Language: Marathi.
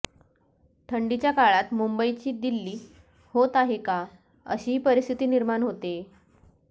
थंडीच्या काळात मुंबईची दिल्ली होत आहे का अशीही परिस्थिती निर्माण होते